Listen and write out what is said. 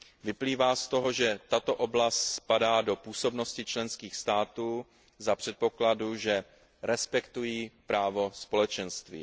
Vyplývá z toho, že tato oblast spadá do působnosti členských států za předpokladu, že respektují právo Společenství.